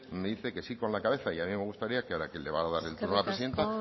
me dice que sí con la cabeza y a mí me gustaría que ahora que le va a dar el turno la presidenta